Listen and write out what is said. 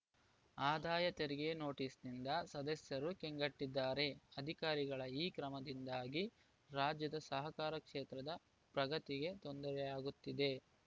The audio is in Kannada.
ಆದಾಯ ತೆರಿಗೆ ನೋಟಿಸ್‌ನಿಂದ ಸದಸ್ಯರು ಕಂಗೆಟ್ಟಿದ್ದಾರೆ ಅಧಿಕಾರಿಗಳ ಈ ಕ್ರಮದಿಂದಾಗಿ ರಾಜ್ಯದ ಸಹಕಾರ ಕ್ಷೇತ್ರದ ಪ್ರಗತಿಗೆ ತೊಂದರೆಯಾಗುತ್ತಿದೆ